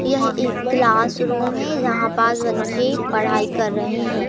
यह एक classroom है यहां बच्चे पढ़ाई कर रहे है।